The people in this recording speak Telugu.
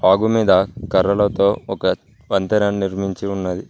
వాగు మీద కర్రలతో ఒక వంతెనను నిర్మించి ఉన్నది.